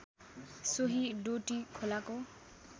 सोही डोटी खोलाको